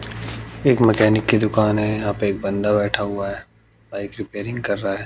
एक मैकेनिक की दुकान है यहां पे एक बंदा बैठा हुआ है बाइक रिपेयरिंग कर रहा है।